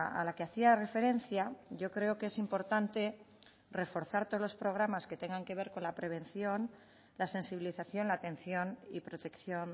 a la que hacía referencia yo creo que es importante reforzar todos los programas que tengan que ver con la prevención la sensibilización la atención y protección